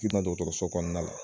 Ti na dɔgɔtɔrɔso kɔnɔna la